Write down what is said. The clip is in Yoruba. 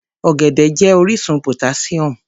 Ọ̀gẹ̀dẹ̀ jẹ́ orísun potassium.